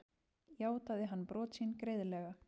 Játaði hann brot sín greiðlega